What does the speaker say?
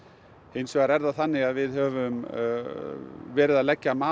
hins vegar er það þannig að við höfum verið að leggja mat